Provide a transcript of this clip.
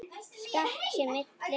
Skammt sé milli húsa.